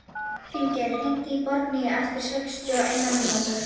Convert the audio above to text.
Finngeir, hringdu í Borgnýju eftir sextíu og eina mínútur.